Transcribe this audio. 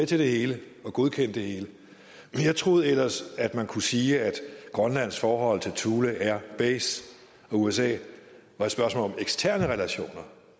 til det hele og godkendt det hele men jeg troede ellers at man kunne sige at grønlands forhold til thule air base og usa var et spørgsmål om eksterne relationer